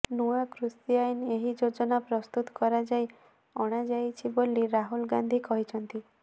ନୂଆ କୃଷି ଆଇନ ଏହି ଯୋଜନା ପ୍ରସ୍ତୁତ କରାଯାଇ ଆଣାଯାଇଛି ବୋଲି ରାହୁଲ ଗାନ୍ଧୀ କହିଛନ୍ତି